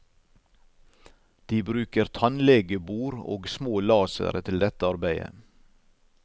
De bruker tannlegebor og små lasere til dette arbeidet.